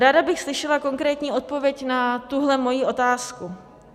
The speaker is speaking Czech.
Ráda bych slyšela konkrétní odpověď na tuhle svoji otázku.